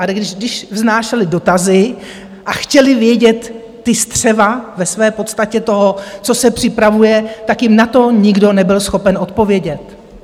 Ale když vznášeli dotazy a chtěli vědět ta střeva ve své podstatě toho, co se připravuje, tak jim na to nikdo nebyl schopen odpovědět.